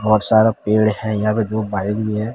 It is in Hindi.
बहोत सारा पेड़ है यहां पे दो बाईक भी हैं।